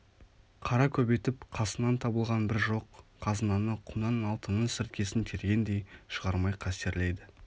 қара көбейтіп қасынан табылған бір жоқ қазынаны құмнан алтынның сіркесін тергендей шығармай қастерлейді